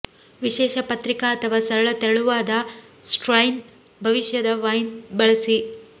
ವಿಶೇಷ ಪತ್ರಿಕಾ ಅಥವಾ ಸರಳ ತೆಳುವಾದ ಸ್ಟ್ರೈನ್ ಭವಿಷ್ಯದ ವೈನ್ ಬಳಸಿ